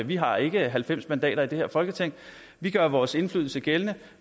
vi har ikke halvfems mandater i det her folketing vi gør vores indflydelse gældende